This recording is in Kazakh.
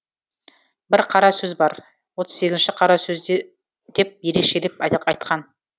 бір қара сөз бар отыз сегізінші қара сөзі деп ерекшелеп атап айтқан